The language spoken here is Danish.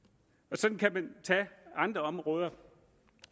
sådan kan man tage andre områder